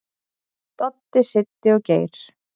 """Dóri, Siddi og Geir."""